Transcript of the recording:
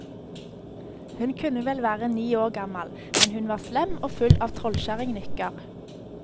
Hun kunne vel være ni år gammal, men hun var slem og full av trollkjerringnykker.